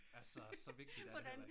Altså så vigtigt er det heller ikke